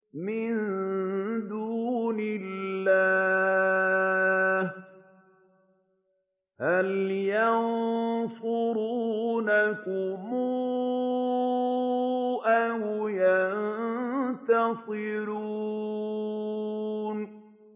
مِن دُونِ اللَّهِ هَلْ يَنصُرُونَكُمْ أَوْ يَنتَصِرُونَ